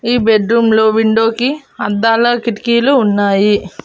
ఈ బెడ్ రూమ్లో విండో కి అద్దాల కిటికీలు ఉన్నాయి.